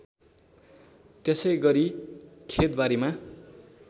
त्यसैगरी खेत बारीमा